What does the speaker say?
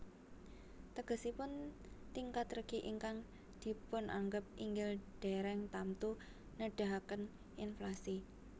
Tegesipun tingkat regi ingkang dipunanggep inggil dèrèng tamtu nedahaken inflasi